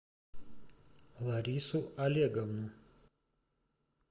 ларису олеговну